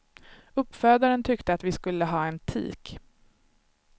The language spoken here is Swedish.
Uppfödaren tyckte att vi skulle ha en tik.